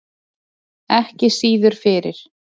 Ekki síður fyrir